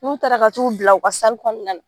N'u taara ka t'u bila u ka na yen.